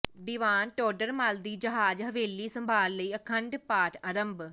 ਦੀਵਾਨ ਟੋਡਰ ਮੱਲ ਦੀ ਜਹਾਜ਼ ਹਵੇਲੀ ਸੰਭਾਲ ਲਈ ਅਖੰਡ ਪਾਠ ਆਰੰਭ